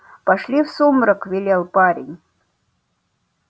пошли в сумрак велел парень